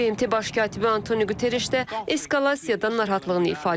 BMT baş katibi Antonio Quterreş də eskalasiyadan narahatlığını ifadə edib.